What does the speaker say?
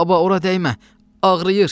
Baba, ora dəymə!